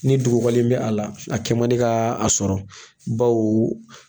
Ni dugukɔli in bɛ a la a kɛ man di ka a sɔrɔ baw